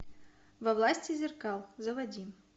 во власти зеркал заводи